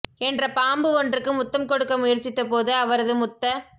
என்ற பாம்பு ஒன்றுக்கு முத்தம் கொடுக்க முயற்சித்த போது அவரது முத்த